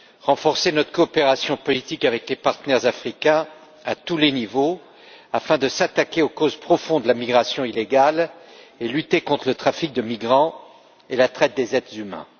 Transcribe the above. Renforcer notre coopération politique avec les partenaires africains à tous les niveaux, afin de s'attaquer aux causes profondes de la migration illégale et de lutter contre le trafic de migrants et la traite des êtres humains.